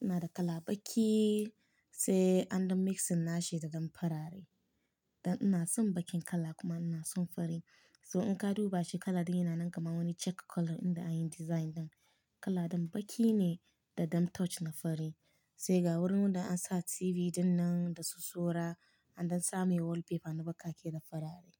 Ina da kala baƙi sai an ɗan mix nashi da ɗan farare. Dan ina son baƙin kala kuma ina son fari. So in ka duba shi kala ɗin yana nan kamar wani check color inda anyi design ɗan. Kala ɗin baƙi ne da ɗan touch na fari. Sai ga wurin wanda ansa TV dinnan da su sura an ɗan sa mai wallpaper na baƙaƙe da farare.